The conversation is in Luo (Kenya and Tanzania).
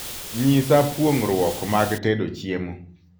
nyisa puongruok mag tedo chiemo